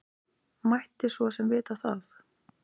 Mátti svo sem vita það.